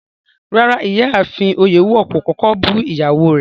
Rárá, Ìyáafin Oyèwọ̀ lo kọ̀kọ̀ bú iyàwó rẹ̀